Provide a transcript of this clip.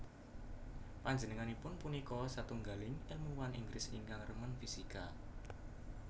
Panjenenganipun punika satunggiling èlmuwan Inggris ingkang remen fisika